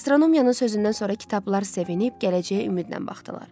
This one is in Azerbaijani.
Astronomiyanın sözündən sonra kitablar sevib gələcəyə ümidlə baxdılar.